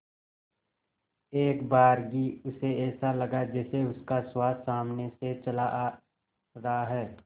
एकबारगी उसे ऐसा लगा जैसे उसका सुहास सामने से चला रहा है